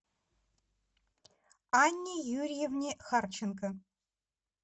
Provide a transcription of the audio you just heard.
анне юрьевне харченко